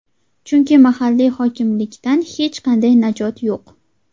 chunki mahalliy hokimlikdan hech qanday najot yo‘q.